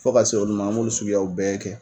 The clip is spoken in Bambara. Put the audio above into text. Fo ka se olu ma an m'olu suguw bɛɛ kɛ.